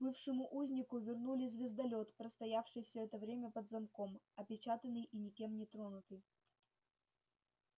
бывшему узнику вернули звездолёт простоявший все это время под замком опечатанный и никем не тронутый